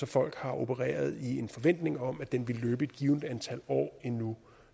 folk har opereret i en forventning om at den ville løbe et givent antal år endnu